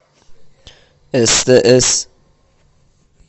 стс